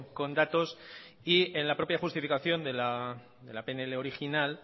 con datos y en la propia justificación de la pnl original